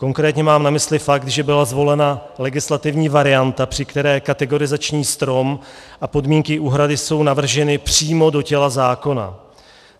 Konkrétně mám na mysli fakt, že byla zvolena legislativní varianta, při které kategorizační strom a podmínky úhrady jsou navrženy přímo do těla zákona.